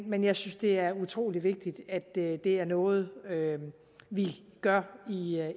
men jeg synes det er utrolig vigtigt at det er noget vi gør